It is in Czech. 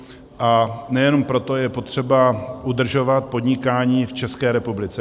A nejenom proto je potřeba udržovat podnikání v České republice.